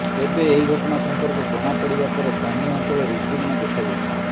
ତେବେ ଏହି ଘଟଣା ସମ୍ପର୍କରେ ଜଣାପଡିବା ପରେ ସ୍ଥାନୀୟ ଅଞ୍ଚଳରେ ଉତ୍ତେଜନା ଦେଖାଯାଇଛି